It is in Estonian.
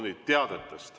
Nüüd teated.